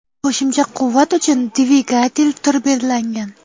Qo‘shimcha quvvat uchun dvigatel turbirlangan.